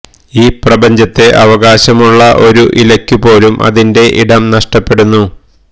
ഈ പ്രപഞ്ചത്തെ അവകാശമുള്ള ഒരു ഇലക്കു പോലും അതിന്റെ ഇടം നഷ്ടപ്പെടുന്നു